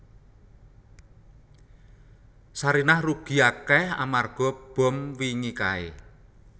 Sarinah rugi akeh amarga bom wingi kae